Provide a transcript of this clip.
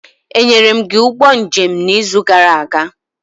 Enyere m gị ụgbọ njem n'izu gara aga?